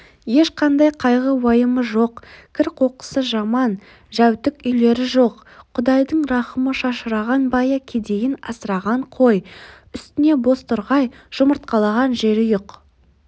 ешқандай қайғы-уайымы жоқ кір-қоқысы жаман-жәутік үйлері жоқ құдайдың рахымы шашыраған байы кедейін асыраған қой үстіне бозторғай жұмыртқалаған жерұйық